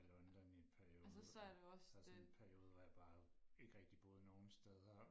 i London i en periode og sådan en periode hvor jeg ikke rigtig boede nogen steder